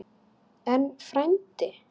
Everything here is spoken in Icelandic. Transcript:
En, frændi